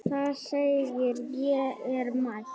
Það segir: Ég er mætt!